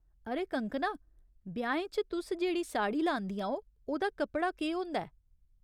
अरे कंगकना, ब्याहें च तुस जेह्ड़ी साड़ी लांदियां ओ, ओह्दा कपड़ा केह् होंदा ऐ ?